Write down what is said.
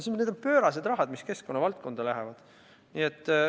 See on pöörane raha, mis keskkonnavaldkonda läheb.